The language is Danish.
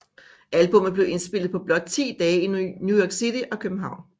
Albummet blev indspillet på blot ti dage i New York City og København